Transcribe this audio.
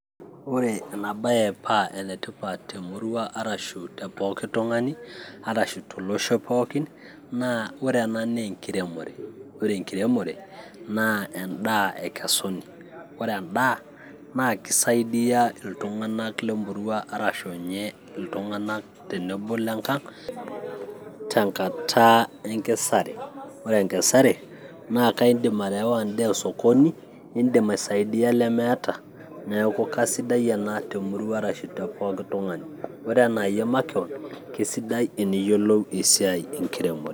ore ena baye paa enetipat temurua arashu tepooki tung'ani arashu tolosho pookin naa ore ena naa enkiremore ore enkiremore naa endaa ekesuni ore endaa naa kisaidia iltung'anak lemurua arashu inye iltung'anak tenebo lenkang tenkata enkesare ore enkesare naa kaindim ayaawa endaa osokoni nindim aisaidia lemeeta neeku kasidai ena temurua arashu tepooki tung'ani ore enaayie makewon kisidai teniyiolou esiai enkiremore.